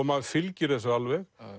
maður fylgir þessu alveg